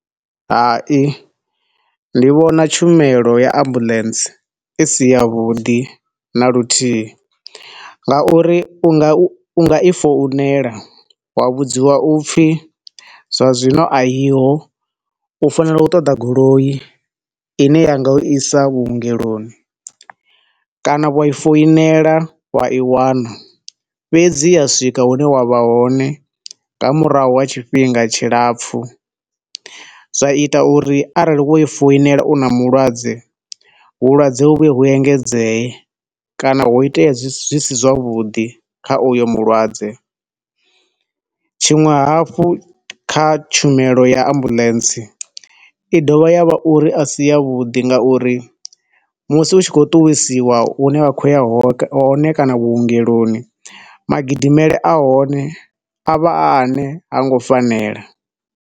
Hai, ndi vhona tshumelo ya Ambulance isi ya vhuḓi na luthihi, nga uri u nga u nga i founela wa vhudziwa upfi zwa zwino a yiho, u fanela u ṱoḓa goloi ine yanga u isa vhuongeloni kana wa i founela wa i wana, fhedzi ya swika hu ne wa vha hone nga murahu ha tshifhinga tshilapfu. Zwa ita uri arali wo i founela u na mulwadze, vhulwadze huye hu engedze e kana hu iteye zwi si, zwi si zwa vhuḓi kha uyo mulwadze. Tshiṅwe hafho kha tshumelo ya ambulance, i dovha ya vha uri a si ya vhuḓi nga uri musi u tshi khou ṱuwisiwa hune wa khou ya hone, kana vhuongeloni, magidimile ahone avha a ane ha ngo fanela.